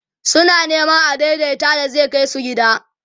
suna Neman adaidaita da zai Kai su gida